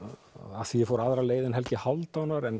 af því ég fór aðra leið en Helgi Hálfdánar en